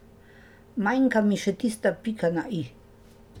Manjka mi še tista pika na i.